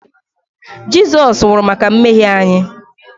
Jizọs nwụrụ maka mmehie anyị